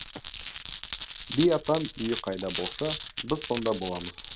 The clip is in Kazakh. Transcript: би атам үйі қайда болса біз сонда боламыз